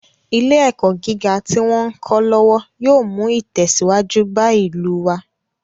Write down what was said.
Ilé ẹ̀kọ́ gíga tí wón ń kọ́ lọ́wọ́ yóò mú ìtẹ̀síwájú bá ìlú wá.